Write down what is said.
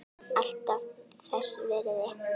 Alltaf þess virði.